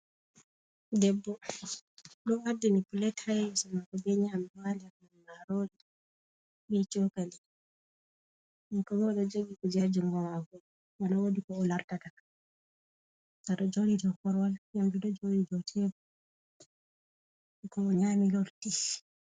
Debbo ɗo ardini pilet haa sera mako be nyamdu haa nder man ɗum marori be chokali. Kankobo o ɗo jogi kuje haa jungomako maɓa wodi ko o lartata. ga ɗo joɗi dau koruwal, nyamdu ɗo joɗi dou tebul ko nyami lorti.